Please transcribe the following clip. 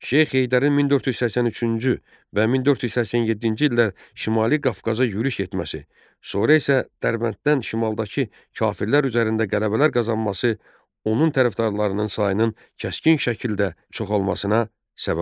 Şeyx Heydərin 1483-cü və 1487-ci illərdə Şimali Qafqaza yürüş etməsi, sonra isə Dərbənddən şimaldakı kafirlər üzərində qələbələr qazanması onun tərəfdarlarının sayının kəskin şəkildə çoxalmasına səbəb oldu.